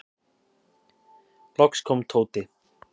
Loks kom Tóti.